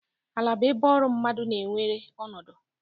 Ala bụ ebe ọrụ mmadụ na-na-ewere ọnọdụ.